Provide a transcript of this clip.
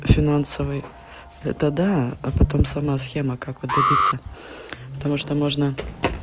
финансовый это да а потом сама схема как вот добиться потому что можно